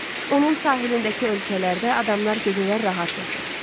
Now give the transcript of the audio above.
Onun sahilindəki ölkələrdə adamlar gecələr rahat yatır.